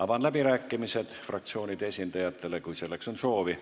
Avan läbirääkimised fraktsioonide esindajatele, kui selleks on soovi.